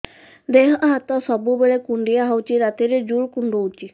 ଦେହ ହାତ ସବୁବେଳେ କୁଣ୍ଡିଆ ହଉଚି ରାତିରେ ଜୁର୍ କୁଣ୍ଡଉଚି